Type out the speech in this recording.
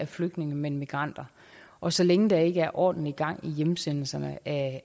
er flygtninge men migranter og så længe der ikke er ordentlig gang i hjemsendelserne af